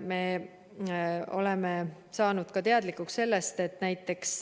Me oleme saanud ka teadlikuks sellest, et näiteks